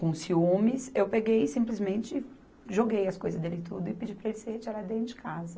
Com ciúmes, eu peguei e simplesmente joguei as coisas dele tudo e pedi para ele se retirar de dentro de casa.